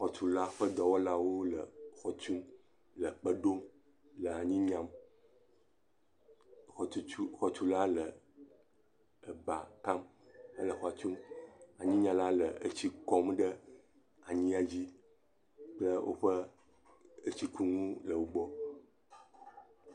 Xɔtula kple dɔwɔlawo le xɔ tum, le kpe ɖom le anyi nyam. Xɔtutu, xɔtula le eba kam le xɔ tum. Anyinyala le etsi kɔm ɖe anyia dzi ye woƒe etsikunu le wogbɔ.